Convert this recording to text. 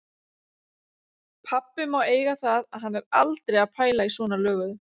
Pabbi má eiga það að hann er aldrei að pæla í svona löguðu.